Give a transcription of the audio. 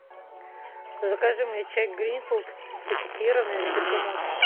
закажи мне чай гринфилд пакетированный с бергамотом